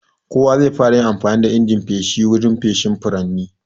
Kowa zai fara amfani da injin feshi wurin feshin furanni.